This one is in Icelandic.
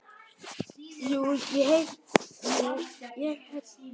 Jú, ég hérna.